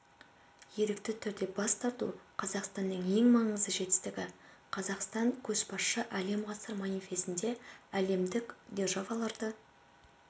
ерікті түрде бас тарту қазақстанның ең маңызды жетістігі қазақстан көшбасшысы әлем ғасыр манифесінде әлемдік державаларды